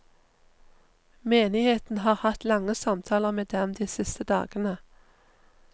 Menigheten har hatt lange samtaler med dem de siste dagene.